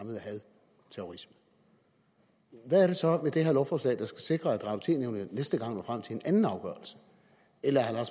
terrorisme hvad er det så ved det her lovforslag der skal sikre at og tv nævnet næste gang når frem til en anden afgørelse eller er